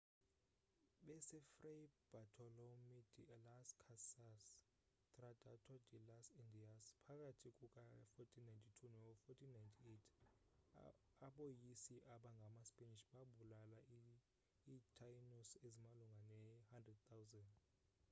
besefray bartolomé de las casas tratado de las indias phakathi kuka-1492 no-1498 aboyisi abangamaspanish babulala iitaínos ezimalunga ne-100 000